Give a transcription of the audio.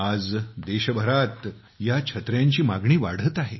आज देशभरात या छत्र्यांची मागणी वाढत आहे